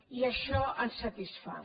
i això ens satisfà